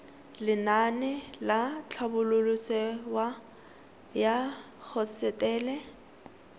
lenaane la tlhabololosewa ya hosetele